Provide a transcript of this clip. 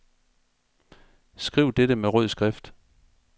Skriv dette med rød skrift.